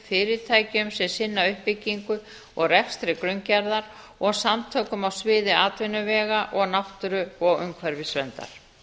fyrirtækjum sem sinna uppbyggingu og rekstri grunngerðar og samtökum á sviði atvinnuvega og náttúru og umhverfisverndar